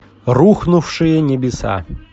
рухнувшие небеса